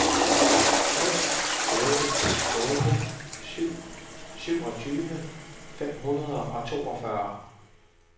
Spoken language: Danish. fem otte otte syv syvogtyve fem hundrede og toogfyrre